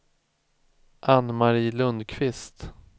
Ann-Mari Lundqvist